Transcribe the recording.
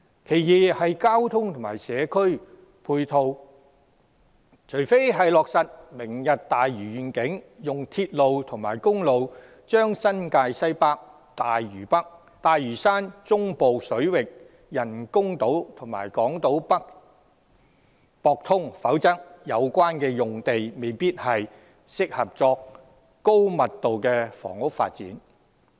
第二，在交通及社區配套方面，除非是落實"明日大嶼願景"，以鐵路及公路接通新界西北、大嶼山、中部水域人工島及港島北，否則相關用地未必適合用作高密度房屋發展。